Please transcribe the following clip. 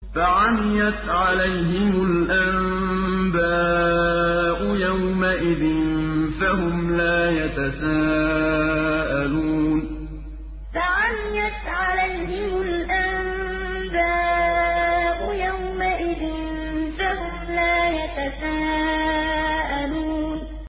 فَعَمِيَتْ عَلَيْهِمُ الْأَنبَاءُ يَوْمَئِذٍ فَهُمْ لَا يَتَسَاءَلُونَ فَعَمِيَتْ عَلَيْهِمُ الْأَنبَاءُ يَوْمَئِذٍ فَهُمْ لَا يَتَسَاءَلُونَ